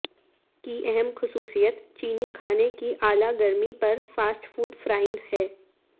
کی اہم خصوصیت چینی کھانے کی اعلی گرمی پر فاسٹ فوڈ فراانگ ہے